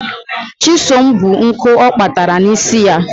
Chisom bu nkụ ọ kpatara n'isi ya.